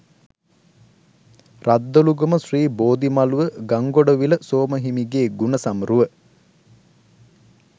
රද්දොළුගම ශ්‍රී බෝධිමළුව ගංගොඩවිල සෝම හිමිගේ ගුණ සමරුව